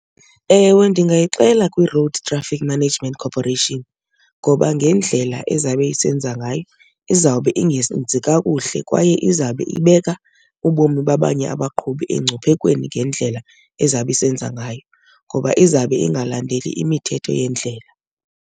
Ewe, ndingayixela kwiRoad Traffic Management Corporation ngoba ngendlela ezawube esenza ngayo izawube ingenzi kakuhle, kwaye izawube ibeka ubomi babanye abaqhubi engcuphekweni ngendlela ezawube isenza ngayo ngoba izawube ingalandeli imithetho yendlela.